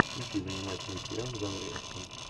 включи занимательный сериал в жанре экшн